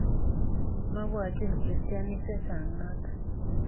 Mebwatyin kristianik che chang notok.